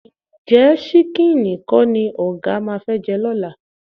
Ǹjẹ́ ṣíkíìnì kọ́ ni ọ̀gá máa fẹ́ jẹ lọ́la?